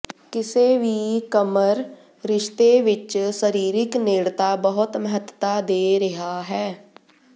ਕਿਸੇ ਵੀ ਕਮਰ ਰਿਸ਼ਤੇ ਵਿਚ ਸਰੀਰਕ ਨੇੜਤਾ ਬਹੁਤ ਮਹੱਤਤਾ ਦੇ ਰਿਹਾ ਹੈ